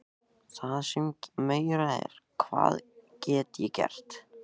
Það sem meira er, hvað get ég gert?